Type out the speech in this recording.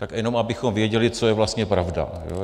Tak jenom abychom věděli, co je vlastně pravda.